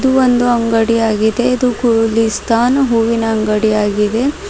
ಇದು ಒಂದು ಅಂಗಡಿ ಆಗಿದೆ ಇದು ಗುಲಿಸ್ಥಾನ್ ಹೂವಿನ ಅಂಗಡಿ ಆಗಿದೆ.